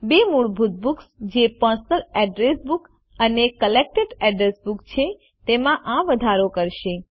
બે મૂળભૂત બુક્સ જે પર્સનલ અડ્રેસ બુક અને કલેક્ટેડ અડ્રેસ બુક છે તેમાં આ વધારો કરશે